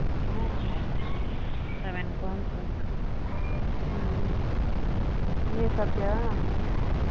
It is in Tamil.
ஆயிருக்கு seven point தான் ஆயிருக்கு ம் ம் நீ சாப்பிட்டியா?